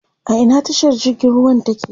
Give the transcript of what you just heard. A ina tashar jirgin ruwan take?